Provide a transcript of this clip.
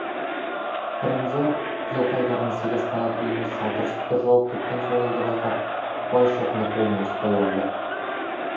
пірімжар жылқайдардың сегіз қанат үйіне сатыр сұтыр жауып кеткен сойылды байқап байшоқыны қолынан ұстай алды